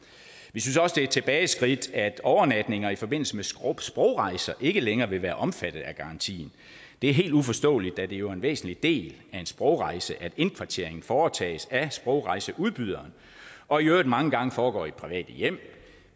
vi synes også det er et tilbageskridt at overnatninger i forbindelse med sprogrejser ikke længere vil være omfattet af garantien det er helt uforståeligt da det jo er en væsentlig del af en sprogrejse at indkvarteringen foretages af sprogrejseudbyderen og i øvrigt mange gange foregår i private hjem